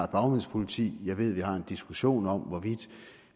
bagmandspoliti jeg ved vi har en diskussion om hvorvidt